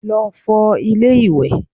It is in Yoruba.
Lọ fọ ilé ìwẹ̀!